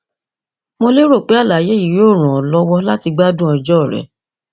mo lérò pé àlàyé yìí yóò ràn ọ lọwọ láti gbádùn ọjọ rẹ